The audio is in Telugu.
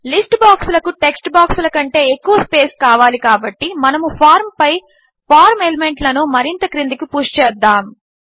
లిస్ట్ బాక్సులకు టెక్స్ట్ బాక్సుల కంటే ఎక్కువ స్పేస్ కావాలి కాబట్టి మనము ఫార్మ్ పై ఫార్మ్ ఎలిమెంట్లను మరింత క్రిందికి పుష్ చేద్దాము